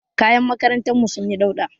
Kayan makarantar mu sun yi dauɗa